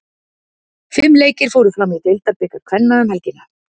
Fimm leikir fóru fram í deildabikar kvenna um helgina.